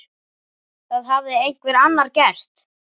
Það hafði einhver annar gert.